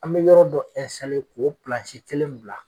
An be yɔrɔ ɛnsitalisa k'o pilansi kelen bila